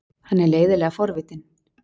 Hann er leiðinlega forvitinn.